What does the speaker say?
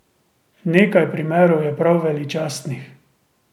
Nekaj primerov je prav veličastnih.